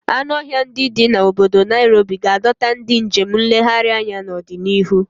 Anụ ọhịa ndi di na obodo Nairobi ga-adọta ndị njem nlegharị anya n'ọdịnihu.